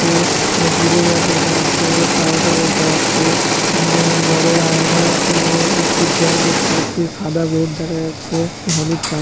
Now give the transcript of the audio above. যে জিলেডগার্ড রাখা আছে পাউডার রাখা আছে ঊম বড়ো আয়না ও একটি জ্যাক দেখতে পাচ্ছি সাদা বোর্ড দেখা যাচ্ছে হলুদ --